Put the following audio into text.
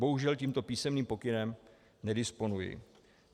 Bohužel tímto písemným pokynem nedisponuji.